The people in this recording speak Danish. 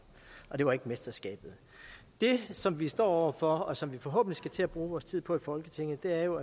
og det var ikke mesterskabet det som vi står over for og som vi forhåbentlig skal til at bruge vores tid på i folketinget er jo